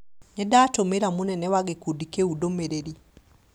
Nĩndatũmĩra mũnene wa gĩkundi kĩu ndũmĩrĩri